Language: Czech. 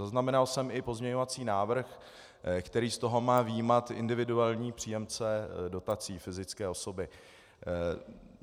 Zaznamenal jsem i pozměňovací návrh, který z toho má vyjímat individuální příjemce dotací, fyzické osoby.